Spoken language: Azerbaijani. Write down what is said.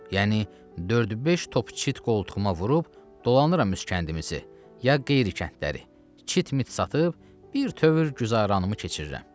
Yəni dörd-beş top çit qoltuğuma vurub dolanıram üskəndimizi ya qeyrikəndləri, çit-mit satıb birtövür güzaranımı keçirirəm.